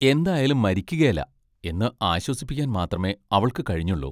എന്തായാലും മരിക്കുകേല, എന്ന് ആശ്വസിപ്പിക്കാൻ മാത്രമേ അവൾക്കു കഴിഞ്ഞുള്ളു.